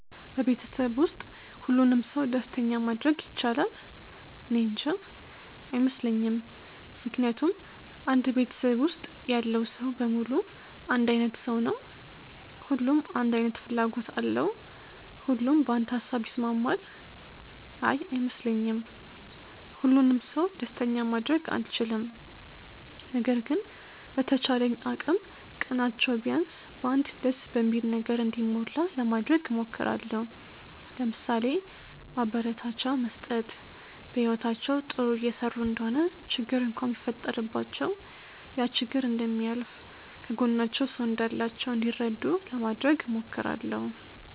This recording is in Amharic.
በቤተሰብ ውስጥ ሁሉንም ሰው ደስተኛ ማድረግ ይቻላል? እኔንጃ። አይመስለኝም ምክንያቱም አንድ ቤተሰብ ውስጥ ያለው ሰው በሙሉ አንድ አይነት ሰው ነው? ሁሉም አንድ አይነት ፍላጎት አለው? ሁሉም በአንድ ሃሳብ ይስማማል? አይ አይመስለኝም። ሁሉንም ሰው ደስተኛ ማድረግ አልችልም። ነገር ግን በተቻለኝ አቅም ቀናቸው ቢያንስ በ አንድ ደስ በሚል ነገር እንዲሞላ ለማድረግ እሞክራለው። ለምሳሌ፦ ማበረታቻ መስጠት፣ በህይወታቸው ጥሩ እየሰሩ እንደሆነ ችግር እንኳን ቢፈጠረባቸው ያ ችግር እንደሚያልፍ፣ ከጎናቸው ሰው እንዳላቸው እንዲረዱ ለማድረግ እሞክራለው።